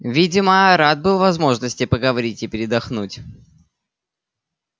видимо рад был возможности поговорить и передохнуть